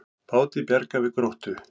Báti bjargað við Gróttu